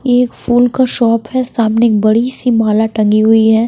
ये एक फूल का शॉप है सामने एक बड़ी सी माला टंगी हुई है।